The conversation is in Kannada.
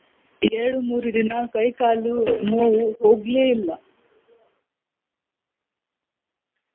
ಎರಡು ಮೂರು ದಿನಾ ಕೈ ಕಾಲು ನೋವು ಹೋಗ್ಲೆ ಇಲ್ಲ.